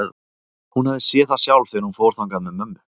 Hún hafði séð það sjálf þegar hún fór þangað með mömmu.